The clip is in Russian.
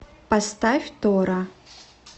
поставь тора